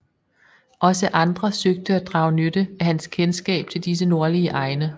Også andre søgte at drage nytte af hans kendskab til disse nordlige egne